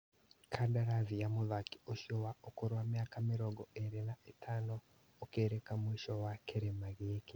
Kandarathi ya mũthaki ũcio wa ũkũrũ wa mĩaka mĩrongo ĩrĩ na ĩtano ũkũrĩka mũico wa kĩrĩma gĩkĩ.